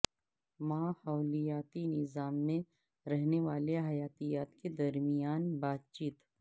ماحولیاتی نظام میں رہنے والے حیاتیات کے درمیان بات چیت